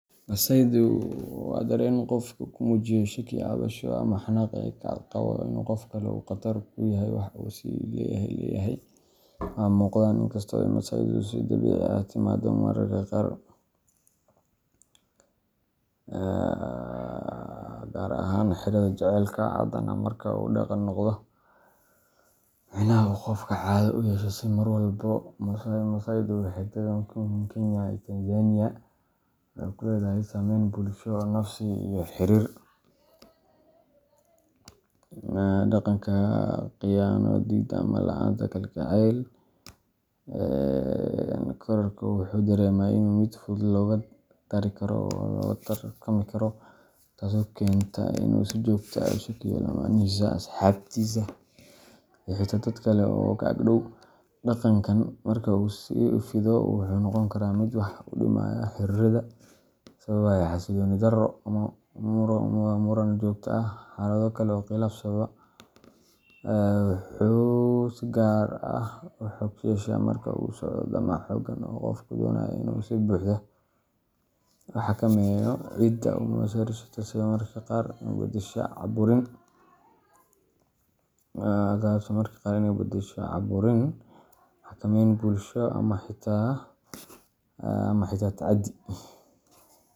Masaydu waa dareen qofku ku muujiyo shakki, cabsasho ama xanaaq uu ka qabo in qof kale uu "qatar" ku yahay waxa uu is leeyahay wuu leeyahay ama waa uu mudan yahay. Inkasta oo masaydu si dabiici ah u timaaddo mararka qaar, gaar ahaan xiriirrada jaceylka, haddana marka uu dhaqan noqdo micnaha uu qofku caado u yeesho in uu mar walba masayro. Masaydu waxey dagan yihin Kenya iyo Tanzania, waxa uu leeyahay saameyn bulsho, nafsi, iyo mid xiriir oo xooggan. Dhaqanka masayda wuxuu inta badan ku saleysan yahay kalsooni darrida qofka ku jirta, taasoo ka dhalata dhaawacyo hore oo uu la kulmay, sida khiyaano, diidmo, ama la’aanta kalgacayl ku filan. Qofka wuxuu dareemaa in uu yahay mid si fudud looga tagi karo ama loola tartami karo, taasoo keenta in uu si joogto ah uga shakiyo lammaanihiisa, asxaabtiisa, ama xitaa dad kale oo ka ag dhow. Dhaqankan marka uu sii fido wuxuu noqon karaa mid wax u dhimaya xiriirrada, sababaya xasillooni darro, muran joogto ah, iyo xaalado kale oo khilaaf sababa. Masaydu wuxuu si gaar ah u xoog yeeshaa marka uu la socdo damac xooggan oo qofku doonayo inuu si buuxda u xakameeyo cidda uu masayrayo taasi oo mararka qaar isu beddesha cabburin, xakameyn bulsho ama xitaa tacaddi.